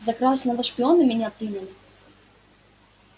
за красного шпиона меня приняли